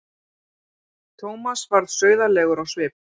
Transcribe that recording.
Thomas varð sauðalegur á svip.